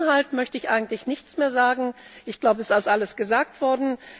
Zum Inhalt möchte ich eigentlich nichts mehr sagen. Es ist bereits alles gesagt worden.